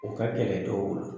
O ka kɛlɛ dɔw bolo.